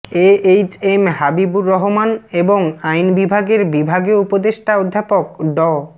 এ H M Habibur Rahman এবং আইন বিভাগের বিভাগীয় উপদেষ্টা অধ্যাপক ড